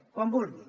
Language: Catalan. quan vulgui